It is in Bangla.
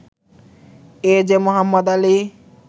A J Mohammad Ali